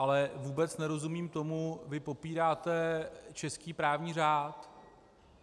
Ale vůbec nerozumím tomu - vy popíráte český právní řád.